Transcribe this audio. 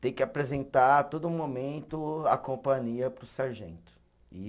Tem que apresentar a todo momento a companhia para o sargento, e